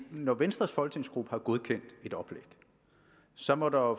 når venstres folketingsgruppe har godkendt et oplæg så må der jo